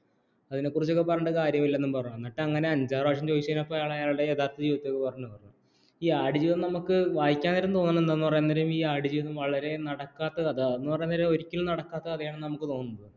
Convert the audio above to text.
അതിനെ കുറിച്ചിട്ട് ഒക്കെ പറഞ്ഞിട്ട് കാര്യമില്ല എന്നു പറഞ്ഞു എന്നിട്ട് അങ്ങനെ അഞ്ചാറുപ്രാവിശ്യാമം ചോദിച്ചിട്ടാണ് അയാളുടെ യഥാർഥ ജീവിതന്നെ കുറിച്ച്ഓകെ പറഞ്ഞത്തു ഈ ആട് ജീവിതം നമുക്ക് വായിക്കാന് വരുമെന്ന് തോന്നുന്നത് പറയുന്നനേരം ഈ ആട് വളരെ നടക്കാത്ത കഥ എന്നു പറയുന്നനേരം ഒരിക്കലും നടക്കാത്ത കഥ എന്നു നമുക്ക് തോന്നും